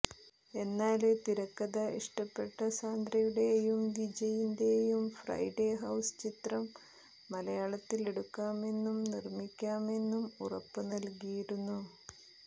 എന്നാല് തിരക്കഥ ഇഷ്ടപ്പെട്ട സാന്ദ്രയുടേയും വിജയിന്റേയും ഫ്രൈഡേ ഹൌസ് ചിത്രം മലയാളത്തിലെടുക്കാമെന്നും നിര്മ്മിക്കാമെന്നും ഉറപ്പ് നല്കിയിരുന്നു